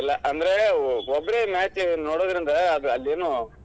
ಅಂದ್ರೆ ಒಬ್ಬರೇ match ನೋಡೋದ್ರಿಂದ್ ಅದ್~ ಅದೇನೋ.